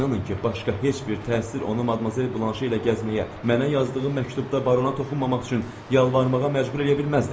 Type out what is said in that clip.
İnanın ki, başqa heç bir təsir onu Madmazel Blanşe ilə gəzməyə, mənə yazdığı məktubda barona toxunmamaq üçün yalvarmağa məcbur eləyə bilməzdi.